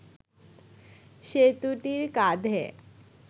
সেতুটির কাঁধে